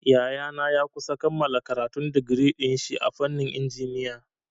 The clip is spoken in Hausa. Yayana ya kusa kammala karatun digiri dinshi a fannin injiniya.